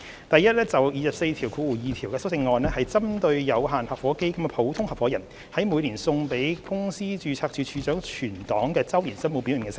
第一，第242條的修正案是針對有限合夥基金的普通合夥人在每年送交公司註冊處處長存檔的周年申報表內的聲明。